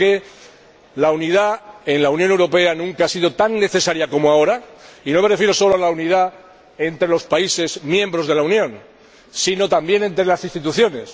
Yo creo que la unidad en la Unión Europea nunca ha sido tan necesaria como ahora, y no me refiero solo a la unidad entre los Estados miembros de la Unión, sino también entre las instituciones.